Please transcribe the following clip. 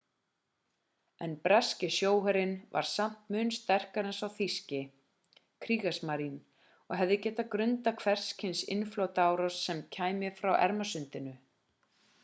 en breski sjóherinn var samt mun sterkari en sá þýski kriegsmarine og hefði getað grandað hvers kyns innrásarflota sem kæmi frá ermasundinu